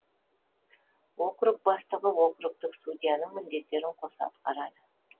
округ бастығы округтік судьяның міндеттерін қоса атқарды